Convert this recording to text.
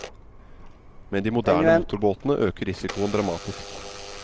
Med de moderne motorbåtene øker risikoen dramatisk.